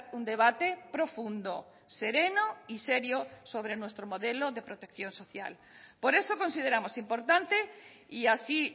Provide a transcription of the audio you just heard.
un debate profundo sereno y serio sobre nuestro modelo de protección social por eso consideramos importante y así